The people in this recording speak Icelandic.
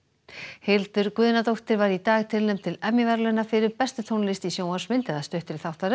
Hildur Guðnadóttir var í dag tilnefnd til verðlauna fyrir bestu tónlist í sjónvarpsmynd eða stuttri þáttaröð